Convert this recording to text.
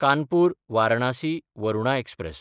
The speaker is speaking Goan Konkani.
कानपूर–वारणासी वरुणा एक्सप्रॅस